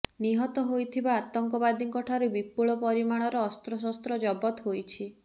ନିହତ ହୋଇଥିବା ଆତଙ୍କବାଦୀଙ୍କ ଠାରୁ ବିପୁଳ ପରିମାଣର ଅସ୍ତ୍ରଶସ୍ତ୍ର ଜବତ ହୋଇଛି